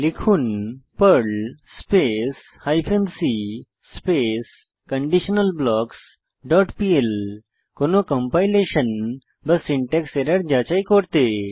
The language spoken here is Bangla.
লিখুন Perl space hyphen c space conditional blocks dot PL কোনো কম্পাইলেশন বা সিনট্যাক্স এরর যাচাই করতে